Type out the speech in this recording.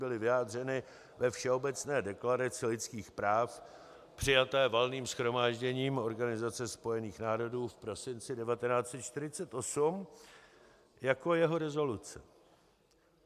Byly vyjádřeny ve Všeobecné deklaraci lidských práv přijaté Valným shromážděním Organizace spojených národů v prosinci 1948 jako jeho rezoluce.